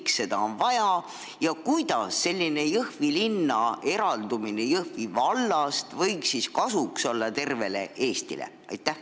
Miks seda on vaja ja kuidas selline Jõhvi linna eraldumine Jõhvi vallast võiks kasuks olla tervele Eestile?